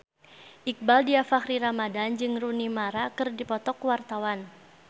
Iqbaal Dhiafakhri Ramadhan jeung Rooney Mara keur dipoto ku wartawan